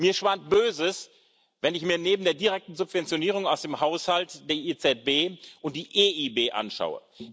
Mir schwant Böses, wenn ich mir neben der direkten Subventionierung aus dem Haushalt die EZB und die EIB anschaue.